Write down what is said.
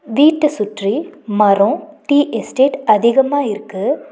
வீட்ட சுற்றி மரோ டீ எஸ்டேட் அதிகமா இருக்கு.